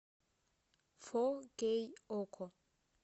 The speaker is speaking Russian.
фол кей око